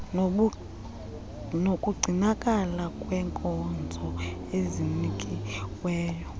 nokugcinakala kwenkonzo ezinikiweyo